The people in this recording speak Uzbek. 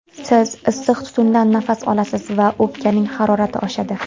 Siz issiq tutundan nafas olasiz va o‘pkaning harorati oshadi.